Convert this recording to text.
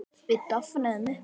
Við dofnum upp.